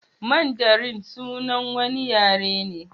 Mandarin sunan wani yare ne.